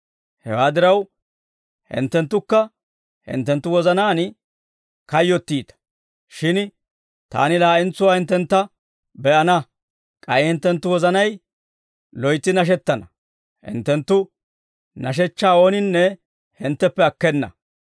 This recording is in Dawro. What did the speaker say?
Hewaa diraw, hinttenttukka hinttenttu wozanaan kayyottiita; shin Taani laa'entsuwaa hinttentta be'ana; k'ay hinttenttu wozanay loytsi nashettana; hinttenttu nashechchaa ooninne hintteppe akkena.